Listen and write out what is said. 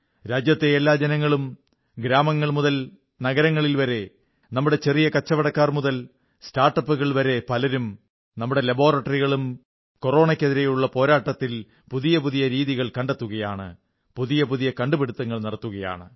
രാജ്യത്തെ എല്ലാ ജനങ്ങളും ഗ്രാമങ്ങൾ മുതൽ നഗരങ്ങളിൽ വരെ നമ്മുടെ ചെറിയ കച്ചവടക്കാർ മുതൽ സ്റ്റാർട്ടപ്പുകൾ വരെ പലരും നമ്മുടെ ലാബോറട്ടറികളും കൊറോണയ്ക്കെതിരെയുള്ള പോരാട്ടത്തിൽ പുതിയ പുതിയ രീതികൾ കണ്ടെത്തുകയാണ് പുതിയ പുതിയ കണ്ടുപിടുത്തങ്ങൾ നടത്തുകയാണ്